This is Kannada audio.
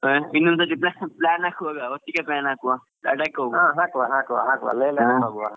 ಹಾ ಇನ್ನೊಂದ್ ಸರ್ತಿ plan ಹಾಕುವಾಗ ಒಟ್ಟಿಗೆ plan ಹಾಕುವ Ladakh ಗೆ ಹಾಕುವ.